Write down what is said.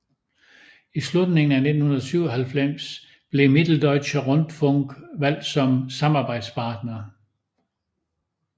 I slutningen af 1997 blev Mitteldeutscher Rundfunk valgt som samarbejdspartner